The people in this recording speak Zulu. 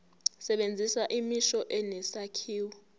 sebenzisa imisho enesakhiwo